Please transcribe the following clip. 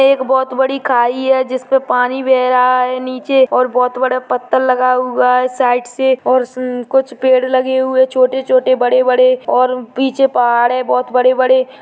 एक बहुत बड़ी खाई है जिसपे पानी बह रहा है नीचे और बहुत बड़े पत्थर लगाए हुआ है साइड से और कुछ पेड़ लगे हुए छोटे- छोटे बड़े बड़े और पीछे पहाड़ है बहुत बड़े बड़े --